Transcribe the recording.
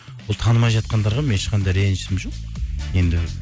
ол танымай жатқандарға менің ешқандай ренжісім жоқ енді